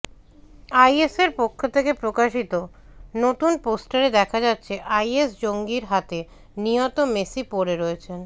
আইএসের পক্ষ থেকে প্রকাশিত নতুন পোস্টারে দেখা যাচ্ছে আইএস জঙ্গির হাতে নিহত মেসি পড়ে রয়েছেন